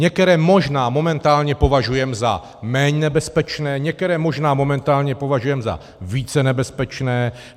Některé možná momentálně považujeme za méně nebezpečné, některé možná momentálně považujeme za více nebezpečné.